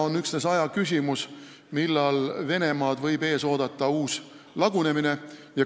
On üksnes ajaküsimus, millal Venemaad võib ees oodata uus lagunemine.